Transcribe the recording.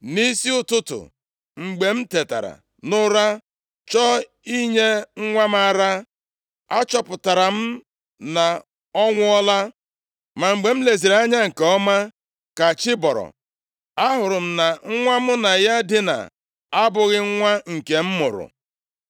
Nʼisi ụtụtụ, mgbe m tetara nʼụra chọọ inye nwa m ara, achọpụtara m na ọ nwụọla. Ma mgbe m leziri ya anya nke ọma ka chi bọrọ, ahụrụ m na nwa mụ na ya dina abụghị nwa nke m mụrụ.”